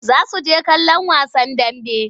Za su je kallon wasan dambe.